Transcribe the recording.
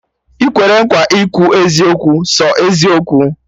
Ị kwere nkwa ikwu eziokwu, sọ eziokwu?